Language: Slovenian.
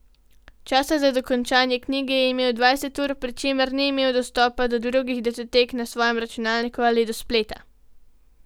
Časa za dokončanje knjige je imel dvanajst ur, pri čemer ni imel dostopa do drugih datotek na svojem računalniku ali do spleta.